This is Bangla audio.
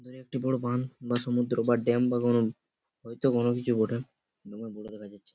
দূরে একটি বড়ো বান বা সমুদ্র বা ডেম বা কোনো হয়তো কোনো কিছু বটে দমে বড় দেখা যাচ্ছে।